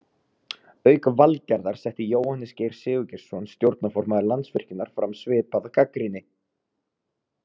Auk Valgerðar setti Jóhannes Geir Sigurgeirsson stjórnarformaður Landsvirkjunar fram svipaða gagnrýni.